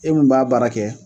E mun b'a baara kɛ.